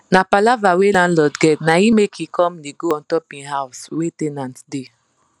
na palava wey landlord get naim make he come dey go untop him house wey ten ant da